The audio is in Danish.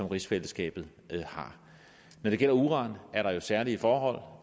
rigsfællesskabet har når det gælder uran er der jo særlige forhold